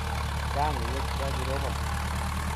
Chang' ngwek ya kirobon